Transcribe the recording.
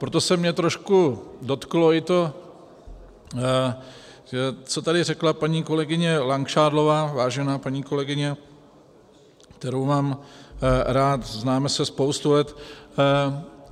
Proto se mě trošku dotklo i to, co tady řekla paní kolegyně Langšádlová, vážená paní kolegyně, kterou mám rád, známe se spoustu let.